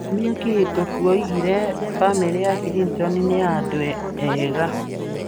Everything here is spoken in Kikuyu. Kiumia kĩhĩtũku, oigire atĩ famĩlĩ ya Clinton nĩ ya "andũ ega".